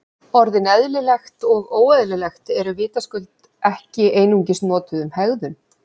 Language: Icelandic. Orðin eðlilegt og óeðlilegt eru vitaskuld ekki einungis notuð um hegðun.